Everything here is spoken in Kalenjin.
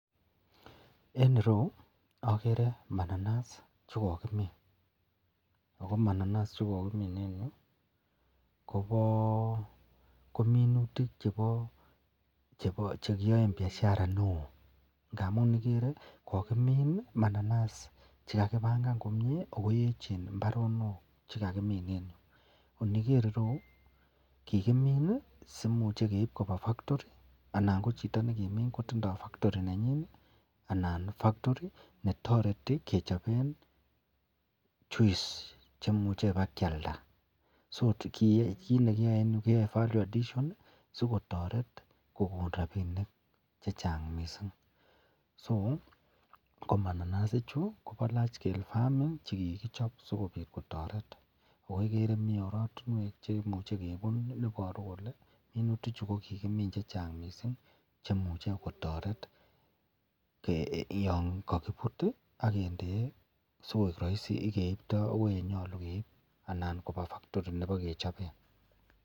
En ireyu okere mananas chekokimin ak ko mananas chekokimin en yuu ko minutik chebo cekiyoen biashara neoo ngamun ikere kokimin mananas che ko kibangan komie ak ko yechen imbaronok chekakimin en yuu, iniker ireyu ko kikimin sikimuche keib koba factory anan ko chito nekimin kotindo factory nenyin anan factory netoreti kechoben juice chemuche bakialda, so kiit nekiyoe en yuu keyoe value edition sikotret kokon rabinik chechang mising, so ko mananas ichu kobo large scale farming che kikichob sikobit kotoret ak ko ikere mii oratinwek chemuche kebun neiboru kolee minutichu ko kikimin chechang mising chemuche kotoret yoon kokibut ak kindee sikoik roisi yeeibto akoi yenyolu keib anan kobaa factory nebokechoben.